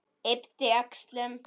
Yppti öxlum.